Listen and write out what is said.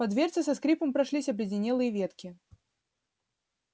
по дверце со скрипом прошлись обледенелые ветки